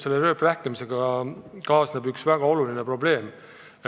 Selle rööprähklemisega kaasneb üks väga oluline probleem.